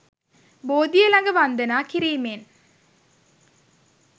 බෝධිය ළඟ වන්දනා කිරීමෙන්